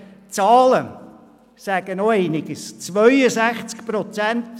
Die Zahlen sagen auch einiges aus.